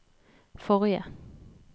forrige